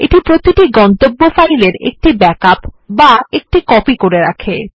এই প্রতিটি গন্তব্য ফাইলের একটি ব্যাকআপ করে তোলে